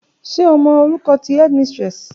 Ṣe o mọ orukọ ti headmistress?